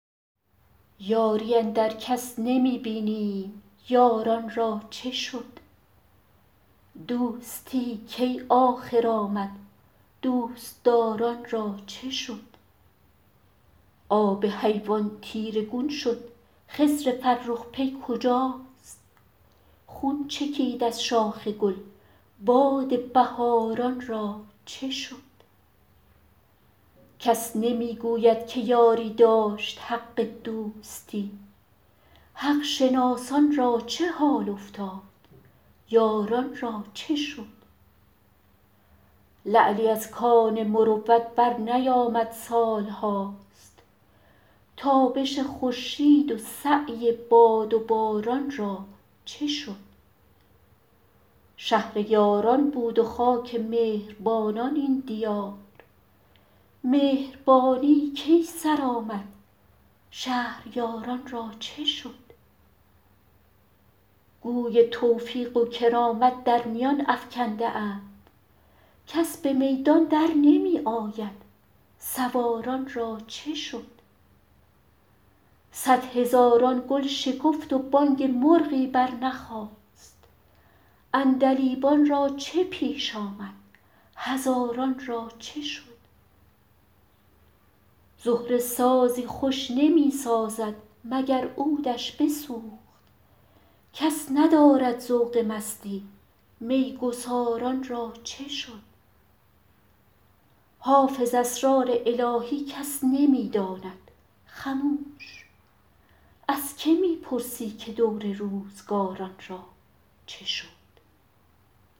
یاری اندر کس نمی بینیم یاران را چه شد دوستی کی آخر آمد دوست دار ان را چه شد آب حیوان تیره گون شد خضر فرخ پی کجاست خون چکید از شاخ گل باد بهار ان را چه شد کس نمی گوید که یاری داشت حق دوستی حق شناسان را چه حال افتاد یاران را چه شد لعلی از کان مروت برنیامد سال هاست تابش خورشید و سعی باد و باران را چه شد شهر یاران بود و خاک مهر بانان این دیار مهربانی کی سر آمد شهریار ان را چه شد گوی توفیق و کرامت در میان افکنده اند کس به میدان در نمی آید سوار ان را چه شد صدهزاران گل شکفت و بانگ مرغی برنخاست عندلیبان را چه پیش آمد هزاران را چه شد زهره سازی خوش نمی سازد مگر عود ش بسوخت کس ندارد ذوق مستی می گسار ان را چه شد حافظ اسرار الهی کس نمی داند خموش از که می پرسی که دور روزگار ان را چه شد